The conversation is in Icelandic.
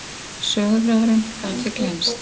Söguþráðurinn gat því gleymst.